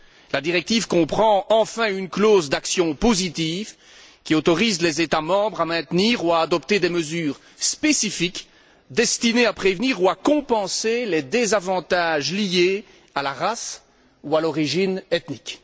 La directive comprend enfin une clause d'action positive, qui autorise les États membres à maintenir ou à adopter des mesures spécifiques, destinées à prévenir ou à compenser les désavantages liés à la race ou à l'origine ethnique.